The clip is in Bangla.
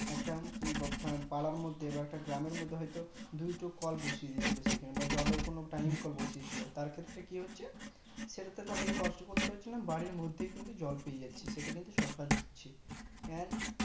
একখান পাড়ার মধ্যে বা একটা গ্রাম এর মধ্যে হয়তো দুইটা কল বসিয়ে দিয়েছে সেখানে জল এর টাইম কল বসিয়ে দিয়েছিলো সেখানে তার ক্ষেত্রে কি হচ্ছে সেটা তাদের কে কষ্ট করতে হচ্ছে না বাড়ির মধ্যেই কিন্তু জল পেয়ে যাচ্ছে সেটা কিন্তু সরকার দিচ্ছে and